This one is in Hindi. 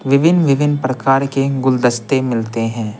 विभिन्न-विभिन्न प्रकार के गुलदस्ते मिलते हैं।